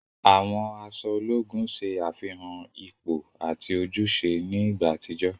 Àwọn aṣọ ológùn ṣe àfihàn ipò ati ojúṣe ni ìgbà àtijọ́.